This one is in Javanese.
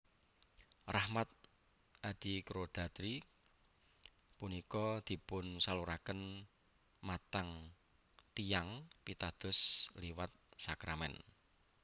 Rahmat adikodrati punika dipunsaluraken matang tiyang pitados liwat sakramèn